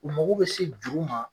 U mago bɛ se juru ma.